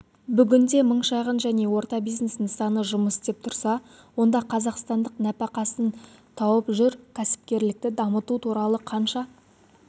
бүгінде мың шағын және орта бизнес нысаны жұмыс істеп тұрса онда қазақстандық нәпәқасын тауып жүр кәсіпкерлікті дамыту туралы қанша